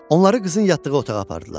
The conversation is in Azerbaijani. Onları qızın yatdığı otağa apardılar.